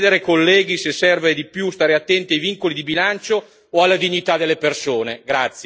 Ci dobbiamo chiedere, colleghi, se serve di più stare attenti ai vincoli di bilancio o alla dignità delle persone.